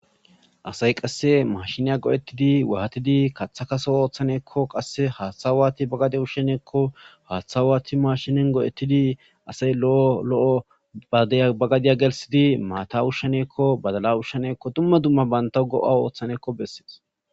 asay qasse mashineya go'ettidi wahatidi kaththa kaso ooththaneekko qasse haaththawaati bagade usheneekko haaththawaati mashinen go'ettidi asay lo'o lo'oba ba gadiya gelsidi maata ushsheneekko badala ushsheneekko dumma dumma baynta go7a ooththaneekko bessees